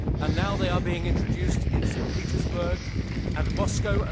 Now they are being introduced in St Petersburg and Moscow.